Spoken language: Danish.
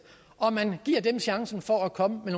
og at man giver dem chancen for at komme med